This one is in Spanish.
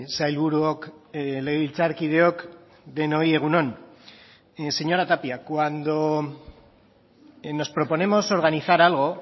sailburuok legebiltzarkideok denoi egun on señora tapia cuando nos proponemos organizar algo